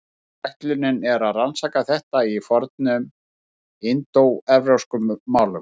Ætlunin er að rannsaka þetta í fornum indóevrópskum málum.